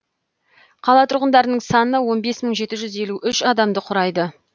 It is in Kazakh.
қала тұрғындарының саны он бес мың жеті жүз елу үш адамды құрайды